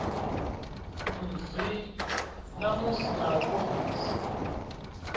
nzwii namusi na u ofhisa